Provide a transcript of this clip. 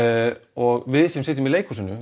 og við sem sitjum í leikhúsinu